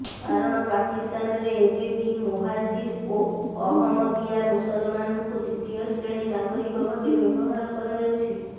କାରଣ ପାକିସ୍ତାନରେ ଏବେ ବି ମୋହାଜିର ଓ ଅହମଦିଆ ମୁସଲମାନଙ୍କୁ ଦ୍ୱିତୀୟ ଶ୍ରେଣୀ ନାଗରିକ ଭାବେ ବ୍ୟବହାର କରାଯାଉଛି